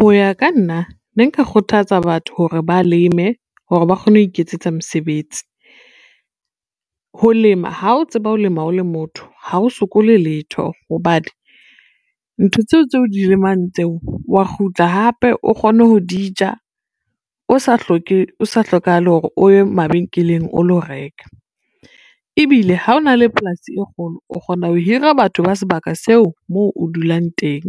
Ho ya ka nna ne nka kgothatsa batho hore ba leme hore ba kgone ho iketsetsa mesebetsi. Ho lema ha o tseba ho lema o le motho ha o sokole letho hobane, ntho tseo tse o di lemang tseo wa kgutla hape o kgone ho di ja, o sa hlokahale hore o ye mabenkeleng o lo reka. Ebile ha ona le polasi e kgolo o kgona ho hira batho ba sebaka seo moo o dulang teng,